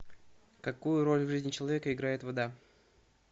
какую роль в жизни человека играет вода